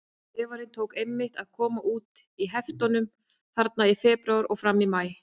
Vefarinn tók einmitt að koma út í heftum þarna í febrúar og fram í maí.